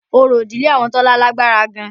Orò ìdílé àwọn Tọ́lá lágbára gan-an